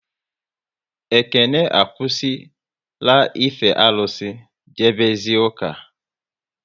Ekene akwụsị la ife arụsị, jebe zie ụka